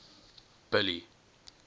billy